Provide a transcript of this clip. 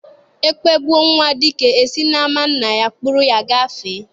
E kpegbuo nwa dike, e si n'ama nna ya kpụrụ ya gafee